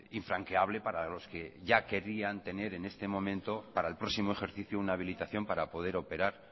infranqueable para los que ya querían tener en este momento para el próximo ejercicio una habilitación para poder operar